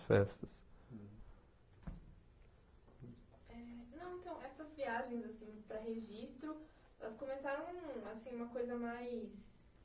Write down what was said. festas. Eh não então, essas viagens assim para registro, elas começaram assim uma coisa mais...